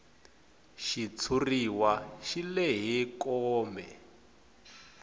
xitshuriwa xi lehe kome